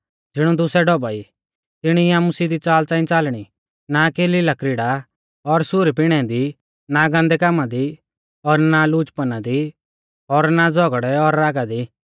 ज़िणौ दुसै ढौभा ई तिणी ई आमु सिधी च़ाल च़ांई च़ालणी ना की लीलाक्रीड़ा और सुरी पिणै दी ना गान्दै कामा दी और ना लुचपना दी और ना झ़ौगड़ै और रागा दी